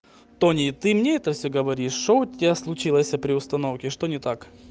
тони ты мне это все говоришь что у тебя случилось при установке что не так